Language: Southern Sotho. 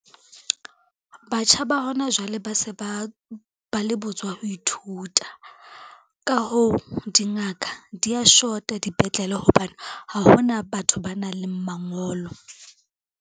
Batjha ba hona jwale ba se ba le botswa ho ithuta, ka hoo dingaka dia shota dipetlele hobane ha hona batho ba nang le mangolo.